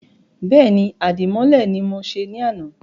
Bẹ́ẹ̀ni, Àdìmọ́lẹ̀ ni mọ se ní àná